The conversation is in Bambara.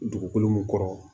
Dugukolo mun kɔrɔ